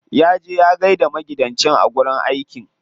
Ya je ya gaida maigidanci a wajen aiki.